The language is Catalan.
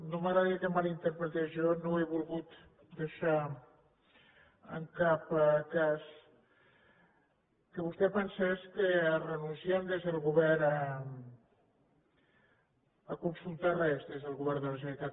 no m’agradaria que em mal interpretés jo no he volgut deixar en cap cas que vostè pensés que renunciem des del govern a consultar res des del govern de la generalitat